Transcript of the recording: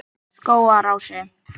Skógarási